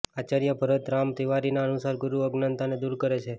આચાર્ય ભરતરામ તિવારીના અનુસાર ગુરુ અજ્ઞાનતાને દૂર કરે છે